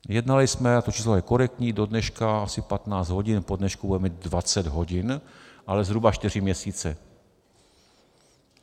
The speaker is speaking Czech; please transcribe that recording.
Jednali jsme, a to číslo je korektní, do dneška asi 15 hodin, po dnešku budeme mít 20 hodin, ale zhruba 4 měsíce.